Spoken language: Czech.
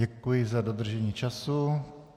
Děkuji za dodržení času.